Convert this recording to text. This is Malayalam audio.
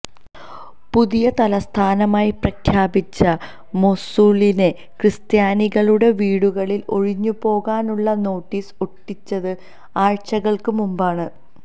പുതിയ തലസ്ഥാനമായി പ്രഖ്യാപിച്ച മൊസ്സൂളിലെ ക്രിസ്ത്യാനികളുടെ വീടുകളിൽ ഒഴിഞ്ഞുപോകാനുള്ള നോട്ടീസ് ഒട്ടിച്ചത് ആഴ്ച്ചകൾക്ക് മുമ്പാണ്